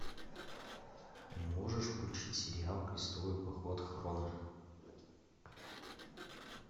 можешь включить сериал крестовый поход хроно